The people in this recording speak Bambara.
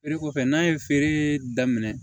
Feere kɔfɛ n'a ye feere daminɛ